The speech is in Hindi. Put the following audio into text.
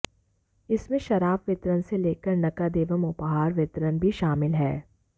इसमें शराब वितरण से लेकर नकद एवं उपहार वितरण भी शामिल हैं